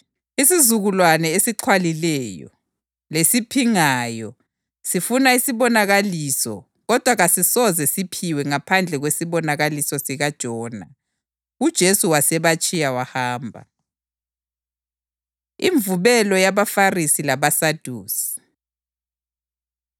Isizukulwane esixhwalileyo lesiphingayo sifuna isibonakaliso kodwa kasisoze sisiphiwe ngaphandle kwesibonakaliso sikaJona.” UJesu wasebatshiya wahamba. Imvubelo YabaFarisi LabaSadusi